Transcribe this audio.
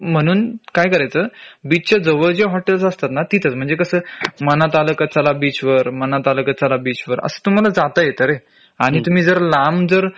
म्हणून काय करायचं बीच च्या जवळ जे हॉटेल्स असतात ना तिथंच म्हंजे कसं मनात आलं का चला बीच वर मनात आलं का चला बीच वर असं तुम्हाला जात येत रे आणि तुम्ही जर लांब जर